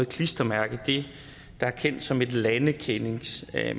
klistermærke det der er kendt som et landekendingsmærke